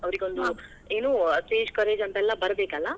ಅವರಿಗೊಂದು ಏನೂ ಒಂದ್ stage courage ಅಂತೆಲ್ಲಾ ಬರಬೇಕಲ್ಲಾ.